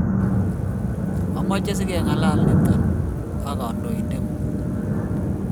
amche si ke ng'alale nitok ak kandoinengun'ng'u